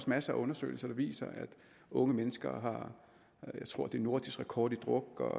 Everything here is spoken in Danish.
masser af undersøgelser der viser at unge mennesker har jeg tror det er nordisk rekord i druk at